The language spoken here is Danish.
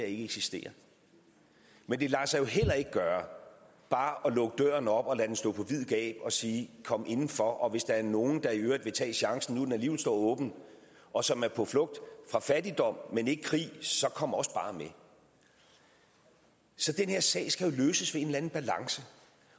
ikke eksisterer men det lader sig jo heller ikke gøre bare at lukke døren op og lade den stå på vid gab og sige kom inden for og hvis der er nogle der i øvrigt vil tage chancen nu hvor den alligevel står åben og som er på flugt fra fattigdom men ikke krig så kom også bare med så den her sag skal jo løses ved en eller anden balance